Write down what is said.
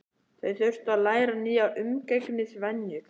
Þau þurftu að læra nýjar umgengnisvenjur.